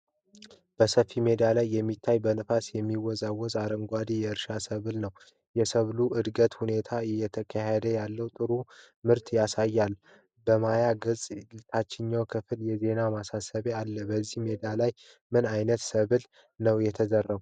በሰፊው ሜዳ ላይ የሚታየው በነፋስ የሚወዛወዝ አረንጓዴ የእርሻ ሰብል ነው። የሰብሉ የእድገት ሁኔታ እየተካሄደ ያለውን ጥሩ ምርት ያሳያል። በማያ ገጹ ታችኛው ክፍል የዜና ማሳሰቢያ አለ። በዚህ ሜዳ ላይ ምን ዓይነት ሰብል ነው የተዘራው?